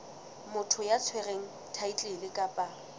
motho ya tshwereng thaetlele kapa